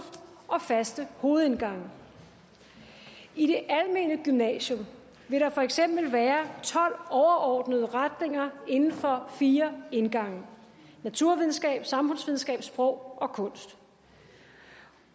og faste hovedindgange i det almene gymnasium vil der for eksempel være tolv overordnede retninger inden for fire indgange naturvidenskab samfundsvidenskab sprog og kunst